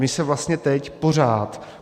My se vlastně teď pořád...